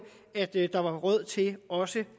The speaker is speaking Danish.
der var råd til også